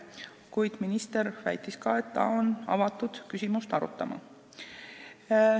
Kuid minister väitis ka, et ta on avatud küsimust arutama.